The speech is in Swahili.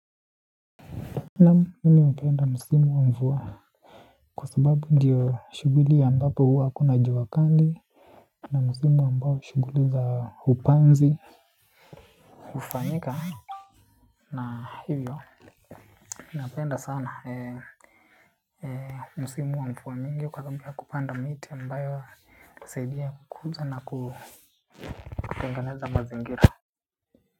Naam mimi napenda mpenda msimu wa mvua kwa sababu ndiyo shughuli ambapo huwa kuna jua kali na msimu ambao shughuli za upanzi hufanyika na hivyo napenda sana msimu wa mvua mingi kwanza kupanda miti ambayo husaidia kukuza na kutengeneza mazingira.